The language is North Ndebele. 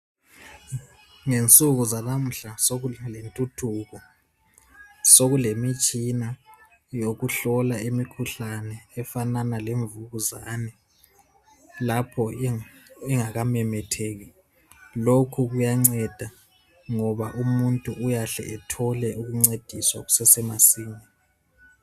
Ngensuku zanamuhla sokulentuthuko sokulemitshina yokuhlola imikhuhlane efanana lemvukuzane lapho ingakamemetheki lokhu kuyanceda ngoba umuntu uyahle ethole ukuncediswa kusesemasinya.